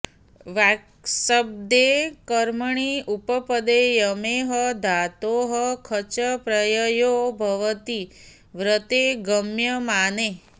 वाक्शब्दे कर्मणि उपपदे यमेः धातोः खच् प्रययो भवति व्रते गम्यमाने